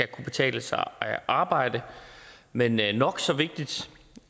kunne betale sig at arbejde men men nok så vigtigt